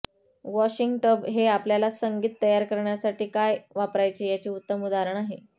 washing tub हे आपल्याला संगीत तयार करण्यासाठी काय वापरायचे याचे उत्तम उदाहरण आहे